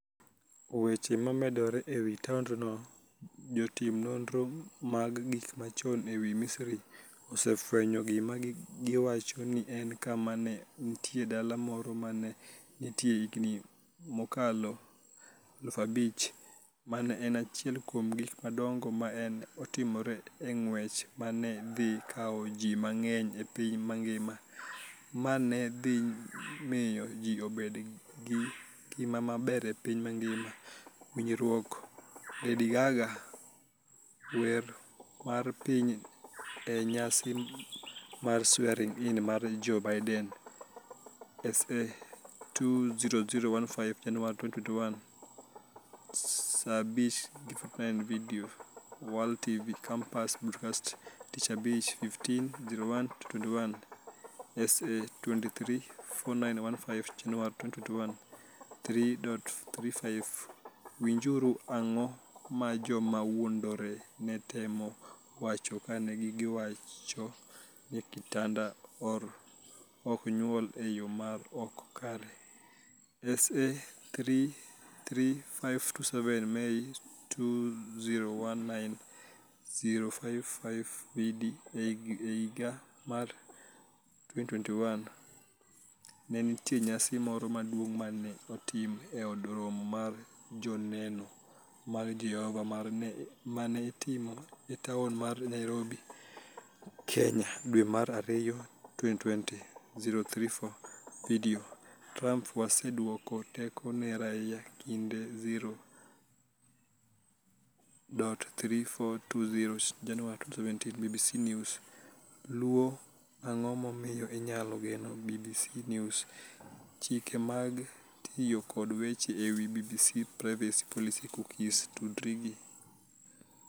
Weche momedore e wi taondno Jotim nonro mag gik machon e piny Misri osefwenyo gima giwacho ni en kama ne nitie dala moro ma ne nitie higini mokalo 5,000. Mano ne en achiel kuom gik madongo ma ne otimore e ng'wech ma ne dhi kawo ji mang'eny e piny mangima, ma ne dhi miyo ji obed gi ngima maber e piny mangima. Winjuru, Lady Gaga wer wer mar piny e nyasi mar swearing in mar Joe Biden, Sa 2,0015 Januar 2021 23:49 Vidio, World TV Compass Broadcasts Tich Abich 15/01/2021, Sa 23,4915 Januar 2021 3:35 Winjuru, Ang'o ma joma wuondore ne temo wacho kane giwacho ni "kitanda ok nyuol e yo ma ok kare"?, Sa 3,3527 Mei 2019 0:55 Vidio, E higa mar 2021, ne nitie nyasi moro maduong' ma ne otim e Od Romo mar Joneno mag Jehova ma ne itimo e taon mar Nairobi, Kenya. Dwe mar ariyo 2020 0:34 Vidio, Trump: Waseduoko teko ne raia, Kinde 0,3420 Januar 2017 BBC News, Luo Ang'o momiyo inyalo geno BBC News Chike mag tiyo kod weche e wi BBC Privacy Policy Cookies Tudri gi